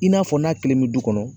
I n'a fɔ n'a kelen be du kɔnɔ